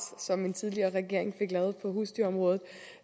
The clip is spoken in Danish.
som en tidligere regering fik lavet på husdyrområdet